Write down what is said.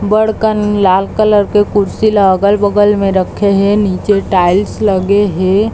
बड़कन लाल कलर के कुर्सी ला अगल- बगल में रखे हे नीचे टाइल्स लगे हे।